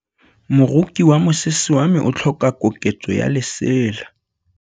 Moroki wa mosese wa me o tlhoka koketsô ya lesela.